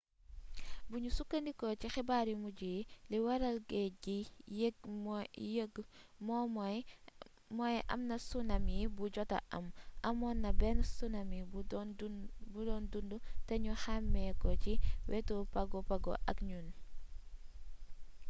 buñu sukkandikoo ci xibaar yu mujj yi li waral géej gi yéeg mooy amna tsunami bu jota am amoon na benn tsunami bu doon dundu te ñu xàmmee ko ci wetu pago pago ak niue